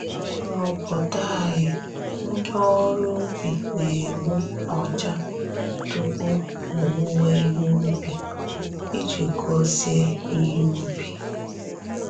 N’obodo anyị, ndị ọrụ ubi na-egbu ọjà tupu owuwe ihe ubi, iji gozie ihe ubi.